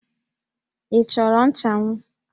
Ị chọrọ nchanwụ?